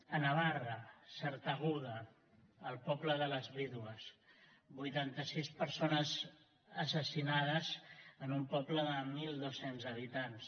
a navarra sartaguda el poble de les vídues vuitanta sis persones assassinades en un poble de mil dos cents habitants